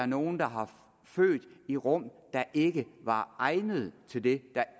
nogle har født i rum der ikke var egnet til det der